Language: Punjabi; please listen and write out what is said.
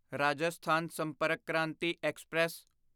ਰਾਜਸਥਾਨ ਸੰਪਰਕ ਕ੍ਰਾਂਤੀ ਐਕਸਪ੍ਰੈਸ